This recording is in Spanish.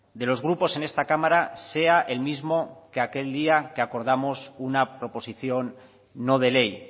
de los grupos en esta cámara sea el mismo que aquel día que acordamos una proposición no de ley